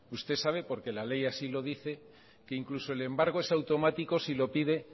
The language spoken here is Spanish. usted sabe porque la ley así lo dice que incluso el embargo es automático si lo pide